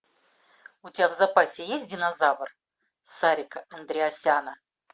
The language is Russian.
у тебя в запасе есть динозавр серика андреасяна